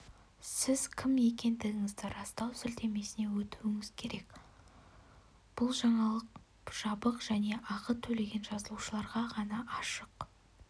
сіз кім екендігіңізді растау сілтемесіне өтуіңіз керек бұл жаңалық жабық және ақы төлеген жазылушыларға ғана ашық